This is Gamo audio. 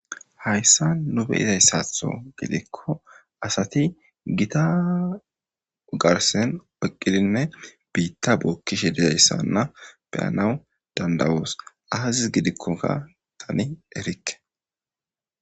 Hayssa nu be7izasaatho gidikko asati gita ugarsen oqqidinne biitta bookkishe dizayssanna beyanaw dandawoos aazis gidikkoka tani erikke.